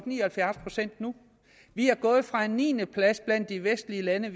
ni og halvfjerds procent nu vi er gået fra en niendeplads blandt de vestlige lande